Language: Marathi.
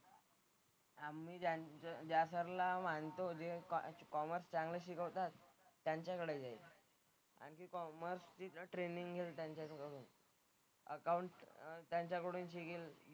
आम्ही ज्यांचं ज्या सरला मानतो जे कॉमर्स चांगलं शिकवतात त्यांच्याकडे जाईन आणि कॉमर्सचं तिथं ट्रेनिंग आहे त्यांच्याकडं अकाउंट त्यांच्याकडनं शिकीन.